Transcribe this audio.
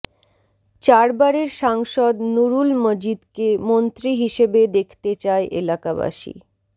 চারবারের সাংসদ নূরুল মজিদকে মন্ত্রী হিসেবে দেখতে চায় এলাকাবাসী